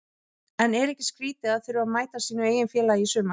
En er ekki skrítið að þurfa að mæta sínu eigin félagi í sumar?